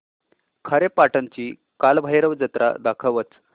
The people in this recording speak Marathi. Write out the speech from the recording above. खारेपाटण ची कालभैरव जत्रा दाखवच